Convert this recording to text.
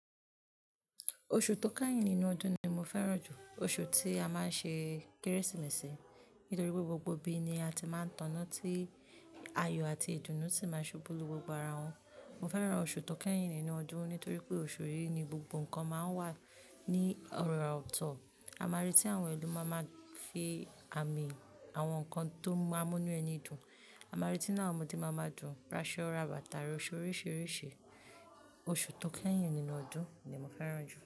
Oṣù tó kẹ́yìn nínú ọdún ni mo fẹ́ràn jù. Oṣù tí a máa ń ṣe Kérésìmesì nítorí pé gbogbo ibi ni a ti máa ń taná tí ayọ̀ àti ìdùnnú sì máa ṣubú lú gbogbo ara wọn. Mo fẹ́ràn oṣù tó kẹ́yìn nínú ọdún nítorí pé oṣù yìí ni gbogbo nǹkan máa ń wà ní ọ̀rọ̀ ọ̀tọ̀. A máa rí tí àwọn ẹlòmíràn fi àmì àwọn nǹkan tó múnú ẹni dùn. A máa rí tí àwọn ọmọdé máa ń dùn, rásọ́, ràbà tàrí oṣù oríṣìíríṣìí. Oṣù tó kẹ́yìn nínú ọdún ni mo fẹ́ràn jù.